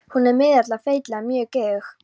Hún er miðaldra, feitlagin, mjög geðug.